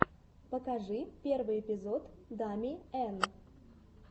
покажи первый эпизод дами эн